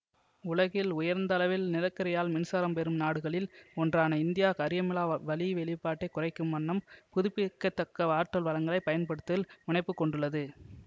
உலகில் உயர்ந்தளவில் நிலக்கரியால் மின்சாரம் பெறும் நாடுகளில் ஒன்றான இந்தியா கரியமிலா வளி வெளிப்பாட்டை குறைக்கும் வண்ணம் புதுப்பிக்க தக்க ஆற்றல் வளங்களை பயன்படுத்துவதில் முனைப்புக் கொண்டுள்ளது